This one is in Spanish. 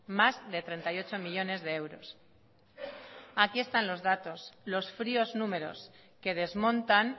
más de treinta y ocho millónes de euros aquí están los datos los fríos números que desmontan